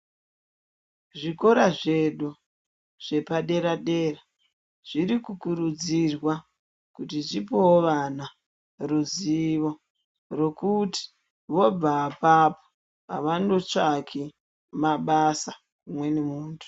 Zvikora zvedu zvepadera dera zviri kukurudzirwa kuti zvipewo vana ruzivo, rwekuti voobva apapo avano tsvaki mabasa kumweni muntu.